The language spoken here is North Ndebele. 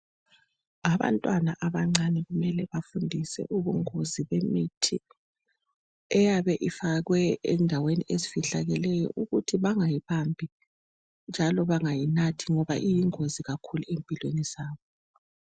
Abantwana abancane kumele bafundiswe ubungozi bemithi eyabe ifakwe endaweni ezifihlakeleyo ukuthi bangayibambi njalo bengayinathi ngoba iyingozi kakhulu empilweni zabo